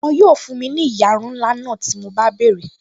Wọn yóò fún mi ní ìyarun ńlá náà tí mo bá béèrè